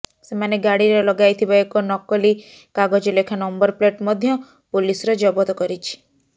ସେମାନେ ଗାଡ଼ିରେ ଲଗାଇଥିବା ଏକ ନକଲି କାଗଜଲେଖା ନମ୍ବର ପ୍ଲେଟ ମଧ୍ୟ ପୋଲିସର ଜବତ କରିଛି